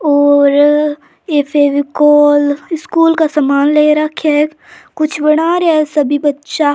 और एक फेबिकोल स्कूल का सामान ले राखा है कुछ बना रहा है सभी बच्चा।